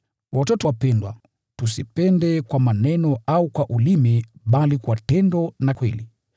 Watoto wapendwa, tusipende kwa maneno au kwa ulimi bali kwa tendo na kweli.